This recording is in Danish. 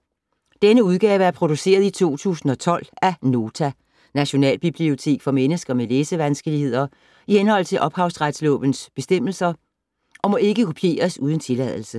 Denne udgave er produceret i 2012 af Nota - Nationalbibliotek for mennesker med læsevanskeligheder, i henhold til ophavsrettes bestemmelser, og må ikke kopieres uden tilladelse.